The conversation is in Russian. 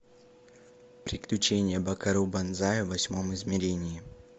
приключения бакару банзая в восьмом измерении